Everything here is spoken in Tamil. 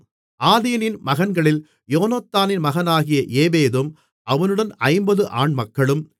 ஆதீனின் மகன்களில் யோனத்தானின் மகனாகிய ஏபேதும் அவனுடன் 50 ஆண்மக்களும்